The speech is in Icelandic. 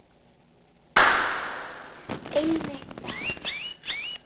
Nei, hreint ekki.